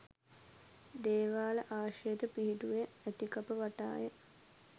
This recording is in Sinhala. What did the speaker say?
දේවාල ආශ්‍රිතව පිහිටුවා ඇති කප වටාය.